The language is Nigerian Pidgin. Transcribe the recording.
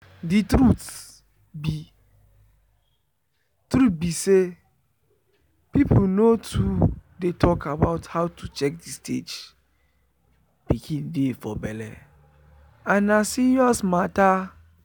the truth be truth be say people nor too dey talk about how to check the stage pikin dey for belle and na serious matter.